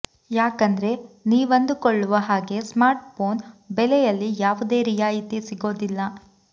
ಯಾಕಂದ್ರೆ ನೀವಂದುಕೊಳ್ಳುವ ಹಾಗೆ ಸ್ಮಾರ್ಟ್ ಫೋನ್ ಬೆಲೆಯಲ್ಲಿ ಯಾವುದೇ ರಿಯಾಯಿತಿ ಸಿಗೋದಿಲ್ಲ